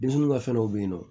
Denmisɛnnin ka fɛn dɔ bɛ yen nɔ